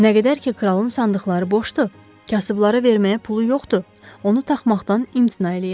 Nə qədər ki, kralın sandıqları boşdur, kasıblara verməyə pulu yoxdur, onu taxmaqdan imtina eləyirəm.